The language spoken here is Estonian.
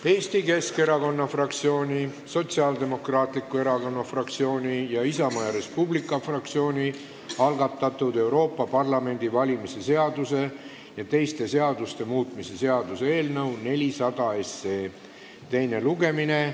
Eesti Keskerakonna fraktsiooni, Sotsiaaldemokraatliku Erakonna fraktsiooni ning Isamaa ja Res Publica Liidu fraktsiooni algatatud Euroopa Parlamendi valimise seaduse ja teiste seaduste muutmise seaduse eelnõu 400 teine lugemine.